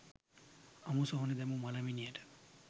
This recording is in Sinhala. අමු සොහොනේ දැමූ මළ මිනියට